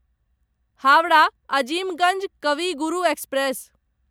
Howrah Azimganj Kavi Guru express